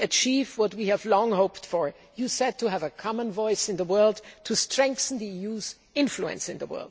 achieve what we have long hoped for to have a common voice in the world and to strengthen the EU's influence in the world.